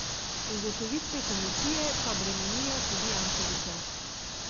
Ugotovitve komisije pa bremenijo tudi Jankovića.